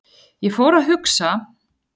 Ég fór að hugsa.